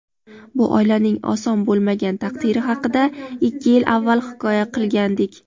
Bu oilaning oson bo‘lmagan taqdiri haqida ikki yil avval hikoya qilgandik.